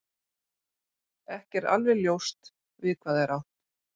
Ekki er alveg ljóst við hvað er átt.